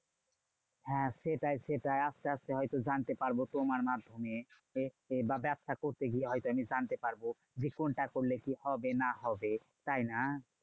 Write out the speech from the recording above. হ্যাঁ সেটাই সেটাই। আসতে আসতে হয়তো জানতে পারবো তোমার মাধ্যমে। বা ব্যবসা করতে গিয়ে হয়তো আমি জানতে পারবো যে, কোনটা করলে কি হবে না হবে, তাইনা?